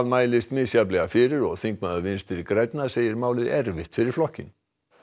mælist misjafnlega fyrir og þingmaður Vinstri grænna segir málið erfitt fyrir flokkinn